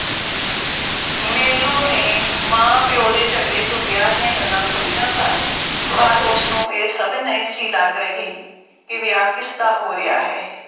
ਮੇਲੋਂ ਨੇ ਮਾਂ-ਪਿਉ ਦੇ ਝਗੜੇ ਤੋਂ ਵਿਆਹ ਦੀਆਂ ਗੱਲਾਂ ਸੁਣੀਆਂ ਸਨ ਪਰ ਉਸਨੂੰ ਇਹ ਸਮਝ ਨਹੀਂ ਸੀ ਲੱਗ ਰਹੀ ਕਿ ਵਿਆਹ ਕਿਸਦਾ ਹੋ ਰਿਹਾ ਹੈ।